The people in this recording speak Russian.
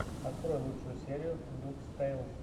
открой лучшую серию дубс тэйлс